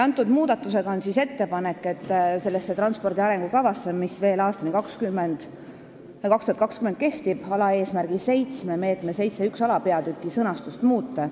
Nüüd on ettepanek selles transpordi arengukavas, mis veel aastani 2020 jõus on, alaeesmärgi 7 meetme 7.1 alapeatüki sõnastust muuta.